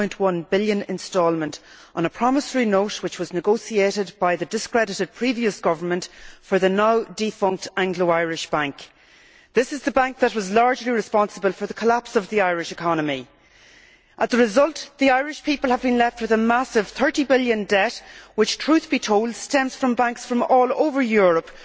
3.1 billion instalment on a promissory note which was negotiated by the discredited previous government for the now defunct Anglo Irish Bank. This is the bank that was largely responsible for the collapse of the Irish economy. As a result, the Irish people have been left with a massive EUR 30 billion debt, which truth be told stems from banks from all over Europe